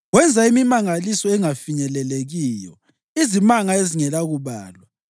Wenza imimangaliso engafinyelelekiyo, izimanga ezingelakubalwa.